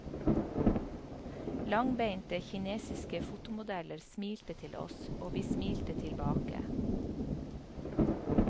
Langbeinte kinesiske fotomodeller smilte til oss, og vi smilte tilbake.